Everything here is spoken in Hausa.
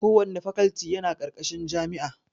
Kowanne fakalti yana ƙarƙashin jami'a